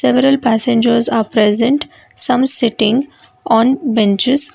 several passengers are present some sitting on benches.